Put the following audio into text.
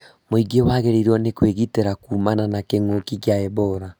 Mũingĩ wagĩrĩirwo nĩ kwĩgitĩra kumana na kĩng'ũki kĩa Ebola